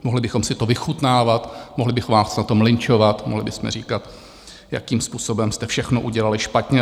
Mohli bychom si to vychutnávat, mohli bychom vás na tom lynčovat, mohli bychom říkat, jakým způsobem jste všechno udělali špatně.